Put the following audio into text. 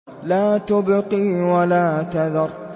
لَا تُبْقِي وَلَا تَذَرُ